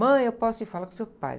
Mãe, eu posso ir? Fala com o seu pai.